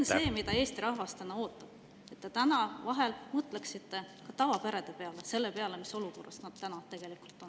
Ja tegelikult Eesti rahvas ootab, et te mõtleksite vahel ka tavaperede peale, selle peale, mis olukorras nad tegelikult on.